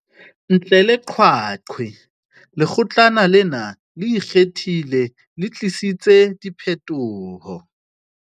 Ntle le qeaqeo, Lekgotlana lena le Ikgethileng le tlisitse diphetoho.